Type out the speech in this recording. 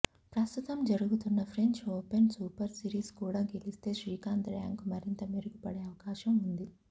ప్రస్తుతం జరుగుతున్న French Open Super Series కూడా గెలిస్తే శ్రీకాంత్ ర్యాంక్ మరింత మెరుగుపడే అవకాశం ఉంది